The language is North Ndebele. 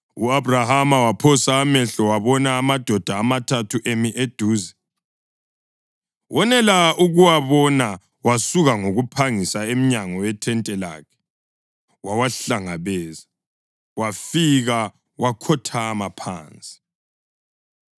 U-Abhrahama waphosa amehlo wabona amadoda amathathu emi eduze. Wonela ukuwabona wasuka ngokuphangisa emnyango wethente lakhe wawahlangabeza wafika wakhothama phansi.